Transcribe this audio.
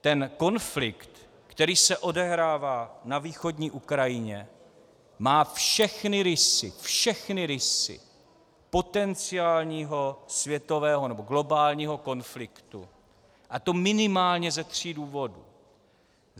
Ten konflikt, který se odehrává na východní Ukrajině, má všechny rysy, všechny rysy potenciálního světového nebo globálního konfliktu, a to minimálně ze tří důvodů.